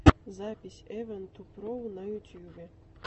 запись эван туб роу на ютюбе